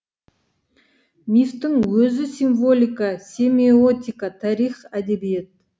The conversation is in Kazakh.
мифтің өзі символика семиотика тарих әдебиет